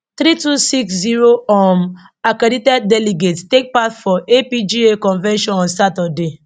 three two six zero um accredited delegates take part for apga convention on saturday